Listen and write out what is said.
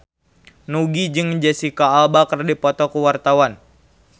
Nugie jeung Jesicca Alba keur dipoto ku wartawan